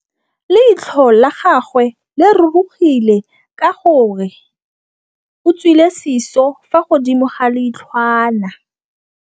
Leitlhô la gagwe le rurugile ka gore o tswile sisô fa godimo ga leitlhwana.